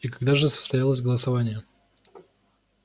и когда же состоялось голосование